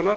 hér í